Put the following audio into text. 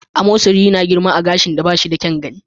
Amosari yana girma a gashin da ba shi da kyan gani.